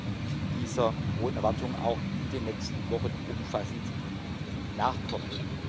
Ich will dieser hohen Erwartung auch in den nächsten Wochen umfassend nachkommen.